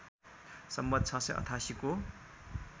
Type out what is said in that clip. सम्वत् ६८८ को